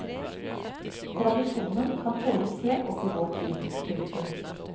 Tradisjonen kan følges helt opp i vår tid. punktum